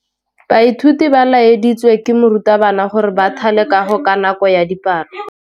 Baithuti ba laeditswe ke morutabana gore ba thale kagô ka nako ya dipalô.